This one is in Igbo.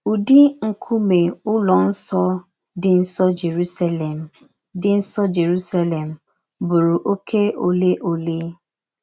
Ụ́dị nkúmè Ụ́lọ̀ Nsọ dị̀ nsò Jerúsàlèm dị̀ nsò Jerúsàlèm bùrù òké òlè òlè?